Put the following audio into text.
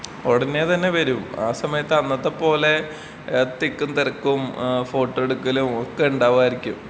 ഉടനേ തന്നെ വരും ആ സമയത്ത് അന്നത്തെ പോലേ തിക്കും തിരക്കും ഏഹ് ഫോട്ടോ എടുക്കലും ഒക്കെ ഉണ്ടാവായിരിക്കും.